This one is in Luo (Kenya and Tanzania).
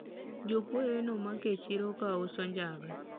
jokuoye nomak e chiro ka uso njaga